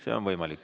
See on võimalik.